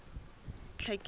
tlhekelo